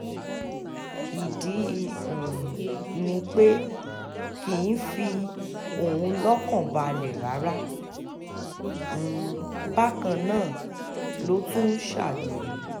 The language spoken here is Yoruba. ìdí um ni pé kì í fi òun lọ́kàn balẹ̀ rárá um bákan náà ló tún ń ṣàgbèrè